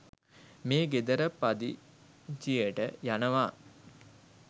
මේ ගෙදර පදිචියට යනවා.